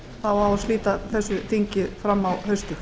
þá á að slíta þessu þingi fram á haustið